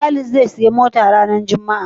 Walid zai siya mota ran juma a